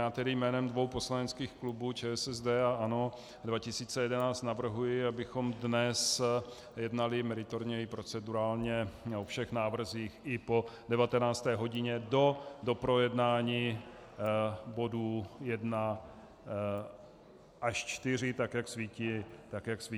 Já tedy jménem dvou poslaneckých klubů ČSSD a ANO 2011 navrhuji, abychom dnes jednali meritorně i procedurálně o všech návrzích i po 19. hodině do doprojednání bodů 1 až 4, tak jak svítí na tabuli.